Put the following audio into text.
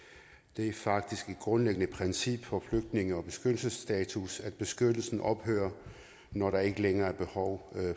det er faktisk et grundlæggende princip for flygtninge og beskyttelsesstatus at beskyttelsen ophører når der ikke længere er behov